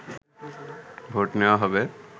vote নেয়া হবে